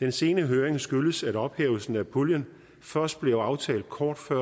den sene høring skyldes at ophævelsen af puljen først blev aftalt kort før